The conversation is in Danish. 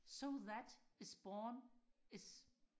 so that is born is